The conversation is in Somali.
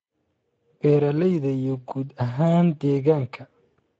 beeralayda iyo guud ahaan deegaanka.